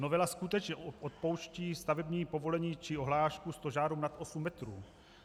Novela skutečně odpouští stavební povolení či ohlášku stožáru nad 8 metrů.